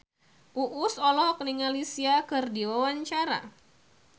Uus olohok ningali Sia keur diwawancara